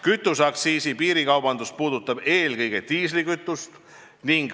Kütuse piirikaubandus puudutab eelkõige diislikütust.